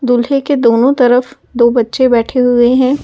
दूल्हे के दोनों तरफ दो बच्चे बैठे हुए हैं ।